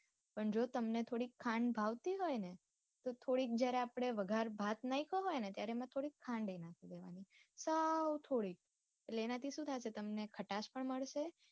પણ જો તમને થોડી ખાંડ ભાવતી હોય ને તો થોડીક જરા આપડે વગાર ભાત નાખ્યો હોય ને ત્યારે એમાં થોડી ખાન બી નાખી દેવાની સૌ થોડીક એટલે એના થી સુઉં થશે તમામને ખાટસ પણ મળશે.